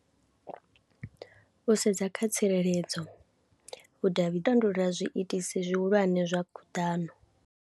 U sedza kha tsireledzo vhudavhi, na u tandulula zwiitisi zwihulwane zwa khuḓano.